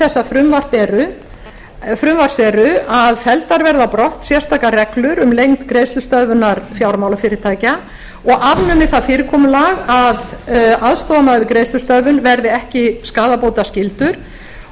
þessa frumvarps eru að felldar verða brott sérstakar reglur um lengd greiðslustöðvunar fjármálafyrirtækja og afnumið það fyrirkomulag að aðstoðarmaður við greiðslustöðvun verði ekki skaðabótaskyldur og